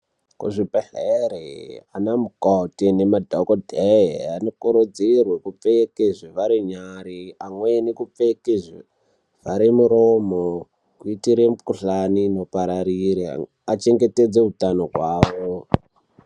Kuzvibhehlere ana mukoti nemadhodheye anokurudzirwe kupfeke zvivhare nyare amweni kupfeke zvivhare muromo kuitire mikhuhlane inopararira achengetedzeke utano hwavo.